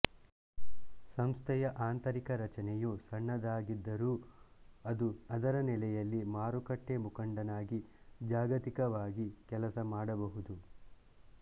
ಸಂಸ್ಥೆಯ ಆಂತರಿಕ ರಚನೆಯು ಸಣ್ಣದಾಗಿದ್ದರೂ ಅದು ಅದರ ನೆಲೆಯಲ್ಲಿ ಮಾರುಕಟ್ಟೆ ಮುಖಂಡನಾಗಿ ಜಾಗತಿಕವಾಗಿ ಕೆಲಸ ಮಾಡಬಹುದು